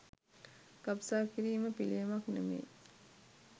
ගබ්සා කිරීම පිලියමක් නෙමෙයි